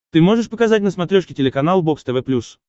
ты можешь показать на смотрешке телеканал бокс тв плюс